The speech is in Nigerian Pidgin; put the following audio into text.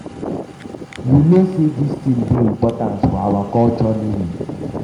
you no um say dis thing dey important for our um culture naming